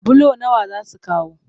Bulo nawa za su kawo?